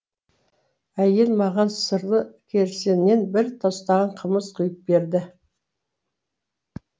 әйел маған сырлы керсеннен бір тостаған қымыз құйып берді